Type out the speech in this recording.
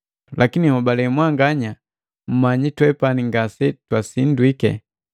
Lakini hobale mwanganya mmanyiki twepani ngase twasindwiki.